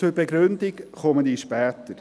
Zur Begründung komme ich später.